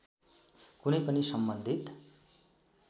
कुनै पनि सम्बन्धित